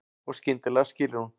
Og skyndilega skilur hún.